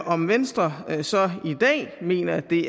om venstre så i dag mener at det